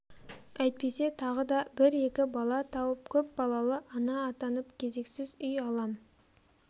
әйтпесе тағы да бір-екі бала тауып көп балалы ана атанып кезексіз үй алам